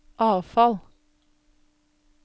avfall